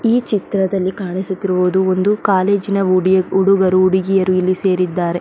ಈ ಚಿತ್ರದಲ್ಲಿ ಕಾಣಿಸುತ್ತಿರುವುದು ಒಂದು ಕಾಲೇಜಿನ ಹುಡಿ ಹುಡುಗರು ಹುಡುಗಿಯರು ಇಲ್ಲಿ ಸೇರಿದ್ದಾರೆ .